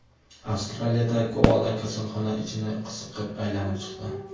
Avstraliyada koala kasalxona ichini qiziqib aylanib chiqdi.